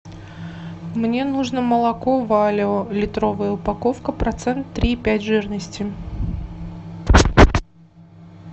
мне нужно молоко валио литровая упаковка процент три и пять жирности